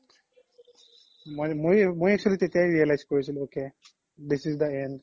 মই actually তেতিয়াই realize কৰিছিলো ok this is the end